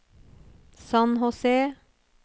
San José